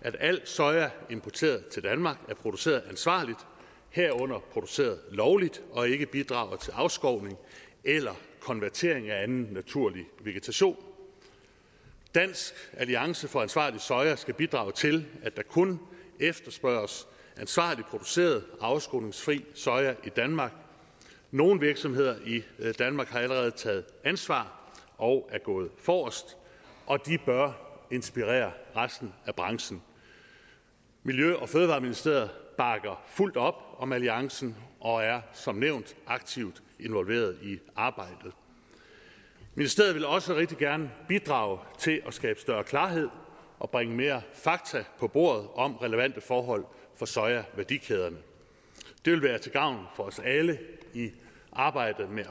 at alt soja importeret til danmark er produceret ansvarligt herunder produceret lovligt og ikke bidrager til afskovning eller konvertering af anden naturlig vegetation dansk alliance for ansvarlig soja skal bidrage til at der kun efterspørges ansvarligt produceret og afskovningsfri soja i danmark nogle virksomheder i danmark har allerede taget ansvar og er gået forrest og de bør inspirere resten af branchen miljø og fødevareministeriet bakker fuldt op om alliancen og er som nævnt aktivt involveret i arbejdet ministeriet vil også rigtig gerne bidrage til at skabe større klarhed og bringe mere fakta på bordet om relevante forhold for sojaværdikæderne det vil være til gavn for os alle i arbejdet med